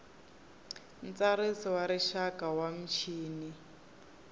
ntsariso wa rixaka wa michini